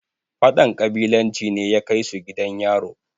fadan ƙabilanci ne ya Kai su gidan yaro